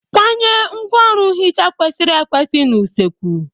Kwanye ngwaọrụ nhicha kwesịrị ekwesị n'usekwu.